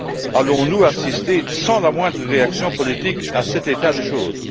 Allons nous assister sans la moindre réaction politique à cet état de choses?